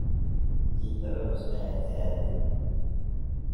Gita culus ayan kaade.